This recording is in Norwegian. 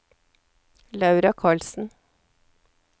Laura Karlsen